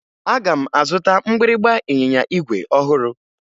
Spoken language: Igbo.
Aga m azụta mgbịrịmgba ịnyịnya igwe ọhụrụ